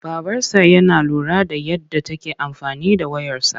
Babansa yana lura da yadda take amfani da wayarsa..